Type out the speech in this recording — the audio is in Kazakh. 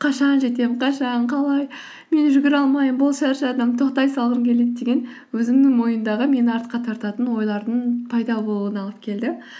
қашан жетем қашан қалай мен жүгіре алмаймын болды шаршадым тоқтай салғым келеді деген өзімнің ойымдағы мені артқа тартатын ойлардың пайда болуына алып келді